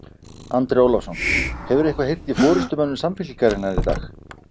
Andri Ólafsson: Hefurðu eitthvað heyrt í forystumönnum Samfylkingarinnar í dag?